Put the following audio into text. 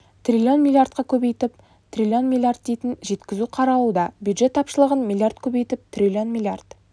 трлн млрд-ға көбейтіп трлн млрд дейін жеткізу қаралуда бюжет тапшылығын млрд көбейтіп трлн млрд